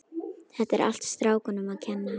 Þetta er allt strákunum að kenna.